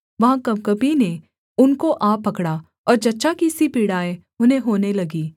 वहाँ कँपकँपी ने उनको आ पकड़ा और जच्चा की सी पीड़ाएँ उन्हें होने लगीं